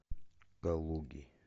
калуги